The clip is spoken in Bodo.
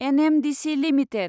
NMDC limited